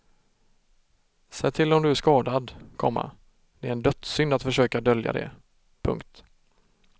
Säg till om du är skadad, komma det är en dödssynd att försöka dölja det. punkt